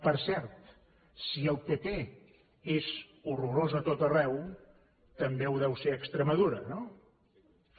per cert si el pp és horrorós a tot arreu també ho deu ser a extremadura no també